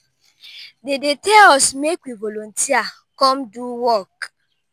dey dey tell us make we volunteer come do work.